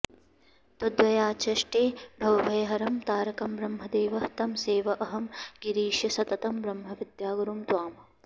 तद्व्याचष्टे भवभयहरं तारकं ब्रह्म देवः तं सेवेऽहं गिरिश सततं ब्रह्मविद्यागुरुं त्वाम्